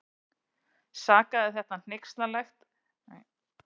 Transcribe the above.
Sagði þetta hneykslanlegt og ætti alls ekki við í svona samkvæmi.